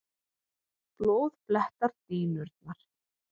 Blóð blettar dýnurnar.